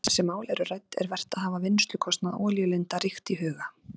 Þegar þessi mál eru rædd er vert að hafa vinnslukostnað olíulinda ríkt í huga.